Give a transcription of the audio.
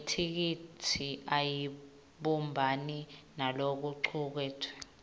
yetheksthi ayibumbani nalokucuketfwe